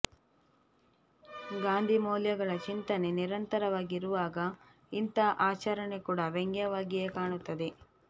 ಗಾಂಧಿಮೌಲ್ಯಗಳ ಚಿಂತನೆ ನಿರಂತರವಾಗಿ ಇರುವಾಗ ಇಂಥ ಆಚರಣೆ ಕೂಡ ವ್ಯಂಗ್ಯವಾಗಿಯೇ ಕಾಣುತ್ತದೆ